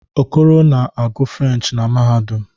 Okoro na-agu French na mahadum